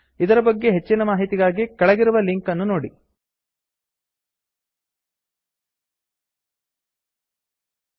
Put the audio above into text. ಇದರ ಬಗ್ಗೆ ಹೆಚ್ಚಿನ ಮಾಹಿತಿಗಾಗಿ ಕೆಳಗಿರುವ ಲಿಂಕ್ ಅನ್ನು ನೋಡಿ httpspoken tutorialorgNMEICT Intro